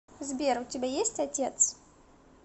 сбер у тебя есть отец